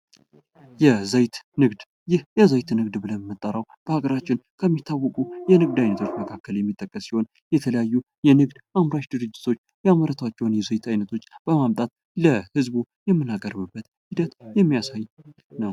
የዘይት ንግድ ይህ ይዘት ንግድ ብለን ምንጠራው በሀገራችን ከሚታወቁ የንግድ አይነቶች መካከል የሚጠቀ ሲሆን የተለያዩ አምራች ድርጅቶች ያመርቷቸውን የዘይት አይነቶች በማምጣት ለህዝቡ የምናቀርብበት ሂደት የሚያሳይ ነው ።